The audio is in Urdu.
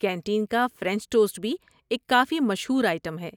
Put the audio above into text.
کینٹین کا فرنچ ٹوسٹ بھی ایک کافی مشہور آئٹم ہے۔